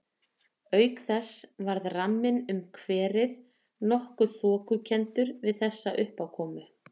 Auk þess varð ramminn um kverið nokkuð þokukenndur við þessa uppákomu.